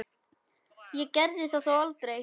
Ég gerði það þó aldrei.